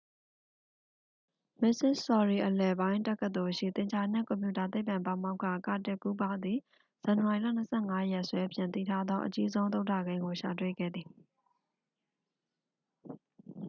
မစ္စဆော်ရီအလယ်ပိုင်း တက္ကသိုလ်ရှိ သင်္ချာနှင့် ကွန်ပျူတာသိပ္ပံ ပါမောက္ခ ကာတစ်ကူးပါးသည် ဇန်နဝါရီလ 25 ရက်စွဲဖြင့် သိထားသော အကြီးဆုံး သုဒ္ဒကိန်းကို ရှာတွေ့ခဲ့သည်